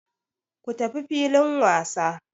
Ku tafi filin wasa!